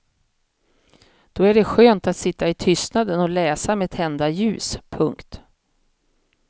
Då är det skönt att sitta i tystnaden och läsa med tända ljus. punkt